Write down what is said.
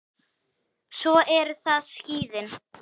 Svo eru það skíðin.